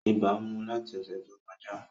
Ibà mu láti ọṣẹ tó kọjá